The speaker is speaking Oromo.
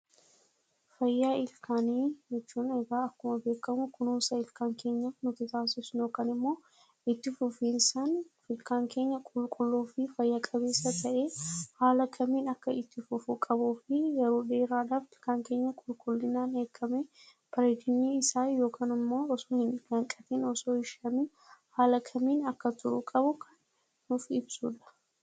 Fayyaa ilkaanii jechuun egaa akkuma beekamu kunuunsa ilkaan keenya af nuti taas isnu yookaan immoo itti fufiisaan ilkaan keenya qulqulluu fi fayyaa-qabeessa ta'ee haala kamiin akka itti fufuu qabuu fi yeruu dheeraadhaaf ikaan keenya qulqullinaan eegamejireenyi isaa yookaan immoo osoo hin samiin haala kamiin akka turuu qabu kan nuuf ibsuudha,